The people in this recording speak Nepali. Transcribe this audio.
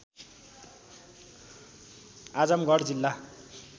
आजमगढ जिल्ला